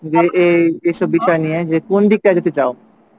যে এই এইসব বিষয় নিয়ে যে কোনদিকটা যেতে চাও?